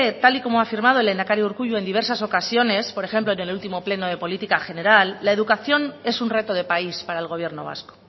tal y como ha afirmado el lehendakari urkullu en diversas ocasiones por ejemplo en el último pleno de política general la educación es un reto de país para el gobierno vasco